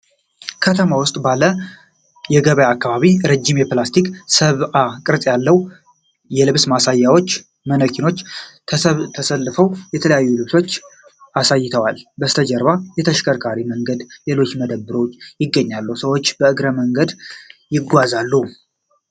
ከተማ ውስጥ ባለ የገበያ አካባቢ፣ ረጅም የፕላስቲክ ሰብአዊ ቅርጽ የልብስ ማሳያዎች (ማነኪኖች) ተሰልፈው የተለያዩ ልብሶችን አሳይተዋል። ከበስተጀርባ የተሽከርካሪ መንገድና ሌሎች መደብሮች ይገኛሉ፤ ሰዎችም በእግረኛ መንገድ ይጓዛሉ።